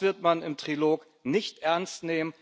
wird man im Trilog nicht ernst nehmen.